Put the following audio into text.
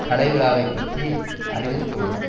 கலை விழாவைப் பற்றி அறிவித்தவுடன்